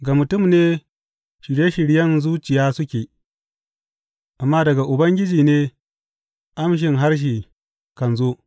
Ga mutum ne shirye shiryen zuciya suke, amma daga Ubangiji ne amshin harshe kan zo.